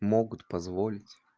могут позволить